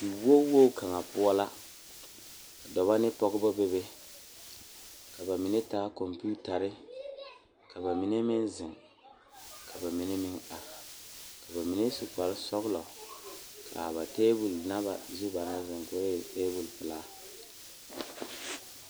Diwogi wogi kaŋ poɔ la ka dɔɔba ne pɔgeba bebe ka bamine taa konpitare ka bamine meŋ zeŋ ka bamine meŋ are ka bamine su kpare sɔglɔ kaa ba tabol nazu naŋ zeŋ koo e tabol pelaa.